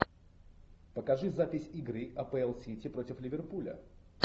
покажи запись игры апл сити против ливерпуля